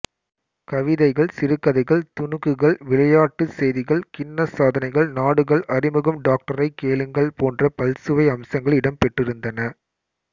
கவிதைகள் சிறுகதைகள் துணுக்குகள் விளையாட்டுச் செய்திகள் கின்னஸ் சாதனைகள் நாடுகள் அறிமுகம் டாக்டரைக் கேளுங்கள் போன்ற பல்சுவை அம்சங்கள் இடம்பெற்றிருந்தன